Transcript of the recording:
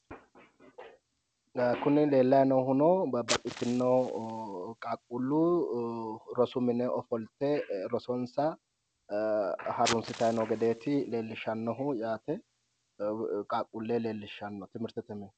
Kuni leellayi noohuno babbaxxitinno qaaqquullu rosu mine ofolete rosonsa harunsitayi noo gedeeti leellishshannohu yaate qaaqquulle leellishshanno timirtete mine.